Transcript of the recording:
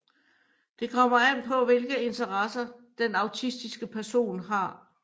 Det kommer an på hvilke interesser den autistiske person har